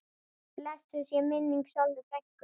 Blessuð sé minning Sollu frænku.